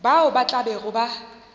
bao ba tla bego ba